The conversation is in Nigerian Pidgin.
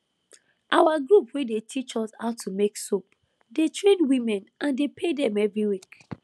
our group wey dey teach us how to make soap dey train women and dey pay dem every week